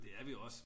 det er vi også